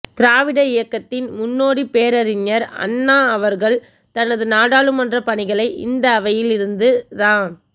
திராவிட இயக்கத்தின் முன்னோடி பேரறிஞர் அண்ணா அவர்கள் தனது நாடாளுமன்ற பணிகளை இந்த அவையில் இருந்து தான்